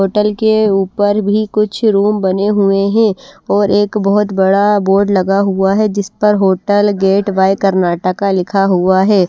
Hotel के ऊपर भी कुछ रूम बने हुए हैं और एक बहुत बड़ा बोर्ड लगा हुआ है जिस पर होटल गेट वाय कर्नाटका लिखा हुआ है।